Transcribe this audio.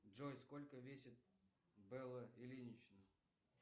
джой сколько весит белла ильинична